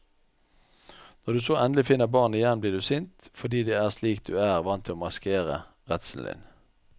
Når du så endelig finner barnet igjen blir du sint, fordi det er slik du er vant til å maskere redselen din.